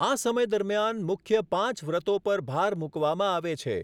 આ સમય દરમિયાન મુખ્ય પાંચ વ્રતો પર ભાર મૂકવામાં આવે છે.